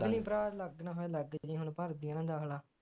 ਭਰਾ ਲੱਗ ਨਾ ਲੱਗ ਜੀ ਹੁਣ ਭਰ ਦਈ ਹਾ ਦਾਖਲਾ